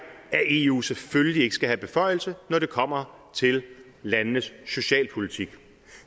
at eu selvfølgelig ikke skal have beføjelser når det kommer til landenes socialpolitik